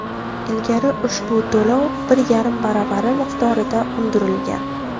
Ilgari ushbu to‘lov bir yarim baravari miqdorida undirilgan.